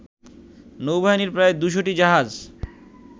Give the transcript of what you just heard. নৌবাহিনীর প্রায় ২০টি জাহাজ